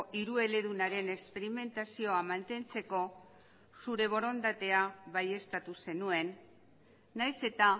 hirueledunaren esperimentazioa mantentzeko zure borondatea baieztatu zenuen nahiz eta